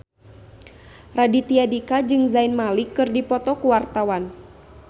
Raditya Dika jeung Zayn Malik keur dipoto ku wartawan